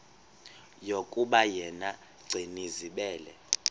yokuba yena gcinizibele